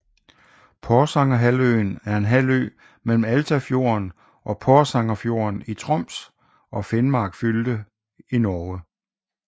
Porsangerhalvøen er en halvø mellem Altafjorden og Porsangerfjorden i Troms og Finnmark fylke i Norge